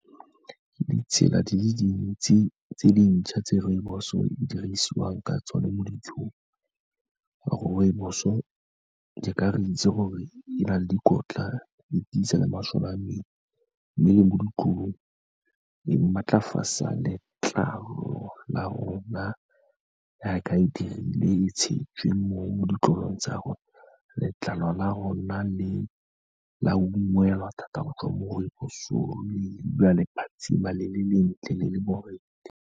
Ditsela di le dintsi tse dintšha tse rooibos-o e di dirisiwang ka tsona mo dijong, go ra gore rooibos-o e ka re itse gore e na le dikotla e tisa le mosola a mmele, mme le mo ditlolong e maatlafatsa letlalo la rona, jaaka e dirile e tshetswe mo ditlolong tsa rona, letlalo la rona la ungwelwa thata go tswa mo rooibos-ong gonne le dula le phatshima, le le lentle le le borethe.